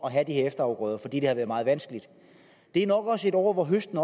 at have de her efterafgrøder fordi det har være meget vanskeligt det er nok også år hvor høsten